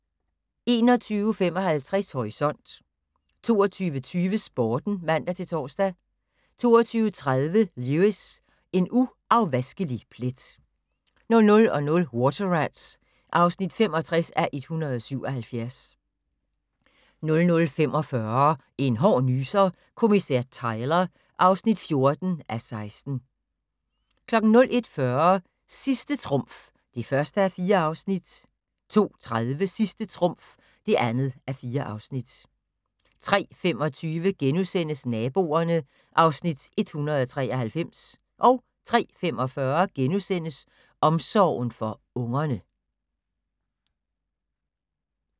21:55: Horisont 22:20: Sporten (man-tor) 22:30: Lewis: En uafvaskelig plet 00:00: Water Rats (65:177) 00:45: En hård nyser: Kommissær Tyler (14:16) 01:40: Sidste trumf (1:4) 02:30: Sidste trumf (2:4) 03:25: Naboerne (Afs. 193)* 03:45: Omsorgen for ungerne *